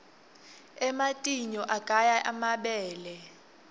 ematinyou aqaya emabele